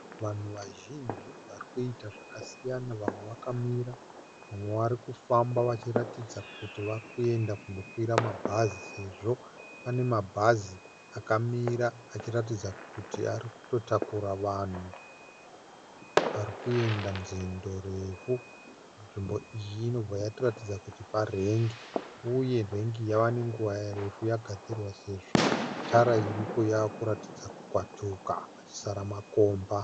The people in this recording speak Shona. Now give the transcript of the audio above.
Vanhu vazhinji varikuita zvakasiyana. Vamwe vakamira vamwe varikufamba vachiratidza kuti varikuenda kundokwira mabhazi sezvo pane mabhazi akamira achiratidza kuti arikutotakura vanhu varikuenda nzendo refu. Nzvimbo iyi inobva yatiratidza kuti parengi uye rengi iyi yava nenguva refu yagadzirwa sezvo tara iripo yakuratidza kukwatuka kuchisara makomba.